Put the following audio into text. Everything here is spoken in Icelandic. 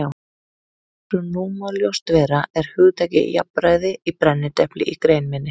Eins og nú má ljóst vera er hugtakið jafnræði í brennidepli í grein minni.